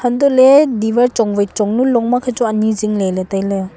antoley diwar chong wai chong nu long makhe chu ani zingley ley tailey.